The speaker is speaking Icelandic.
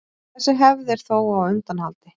þessi hefð er þó á undanhaldi